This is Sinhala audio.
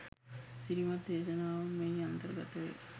අසිරිමත් දේශනාවන් මෙහි අන්තර්ගත වේ.